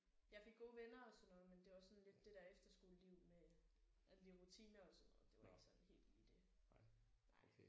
Jeg fik gode venner og sådan noget men det var sådan lidt det der efterskoleliv med alle de rutiner og sådan noget det var ikke sådan helt lige det